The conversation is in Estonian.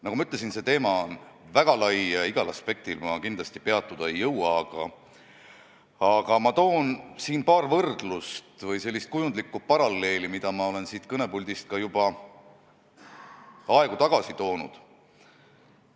Nagu ma ütlesin, see teema on väga lai ja igal aspektil ma kindlasti peatuda ei jõua, aga toon paar võrdlust või kujundlikku paralleeli, mida olen siin kõnepuldis juba mõni aeg tagasigi maininud.